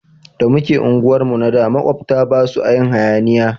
Da muke unguwar mu na da makwabta basu a yin hayaniya